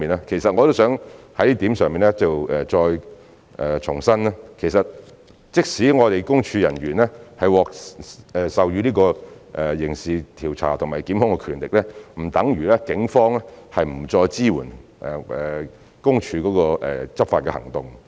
其實我也希望就這點再重申，即使私隱公署人員獲授予刑事調查和檢控的權力，並不等如警方不再支援私隱公署的執法行動。